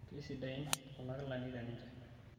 keisidain kuna kilani teninche